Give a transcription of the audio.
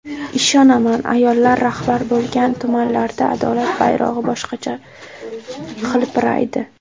Ishonaman ayollar rahbar bo‘lgan tumanlarda adolat bayrog‘i boshqacha hilpiraydi.